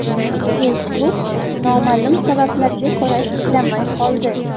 Facebook noma’lum sabablarga ko‘ra ishlamay qoldi.